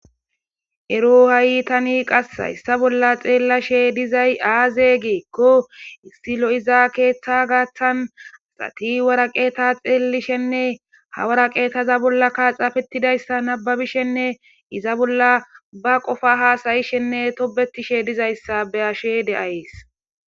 Ero ha'i tani qassa issa bolla xeellashe dizay aaze geekko issi lo'iza keeththa gaaththan asati waraqeeta xeelishenne ha waraqeetaza bolla kaaxaafetidayssa nababishenne iza bolla ba qofa haasayishenne tobetishe dizayssa be ashe de'ayes.